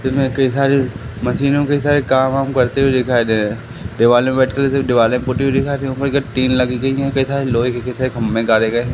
तुम्हें कई सारी मशीनों के साथ काम वाम करते हुए दिखाई दे रहे है